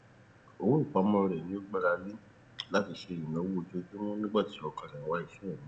owó ìpamọ rẹ ni ó gbára lẹ láti ṣe ináwó ojoojúmọ nígbà tí ọkọ rẹ ń wá iṣẹ míì